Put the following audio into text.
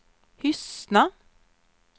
Hyssna